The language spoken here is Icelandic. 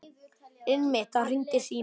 Einmitt þá hringdi síminn.